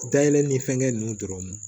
Dayɛlɛ ni fɛnkɛ ninnu dɔrɔn